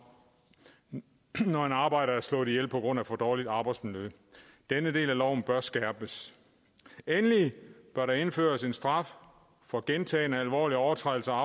når en arbejder er slået ihjel på grund af for dårligt arbejdsmiljø denne del af loven bør skærpes endelig bør der indføres en straf for gentagne alvorlige overtrædelser